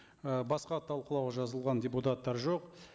і басқа талқылауға жазылған депутаттар жоқ